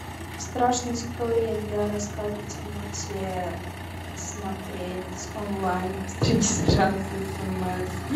страшные истории для рассказов в темноте смотреть онлайн без регистрации и смс